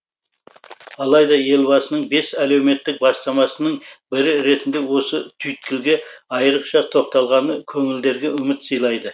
алайда елбасының бес әлеуметтік бастамасының бірі ретінде осы түйткілге айырықша тоқталғаны көңілдерге үміт сыйлайды